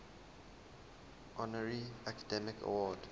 honorary academy award